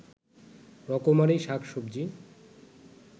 রকমারি শাক-সবজি